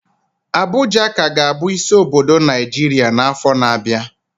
Abuja ka ga-abụ isi obodo Naijiria n'afọ na-abịa